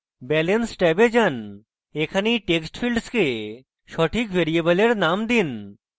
balance ট্যাবে যান এখানে এই text ফীল্ডসকে সঠিক ভ্যারিয়েবলের names দিন